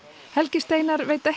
helgi Steinar veit ekki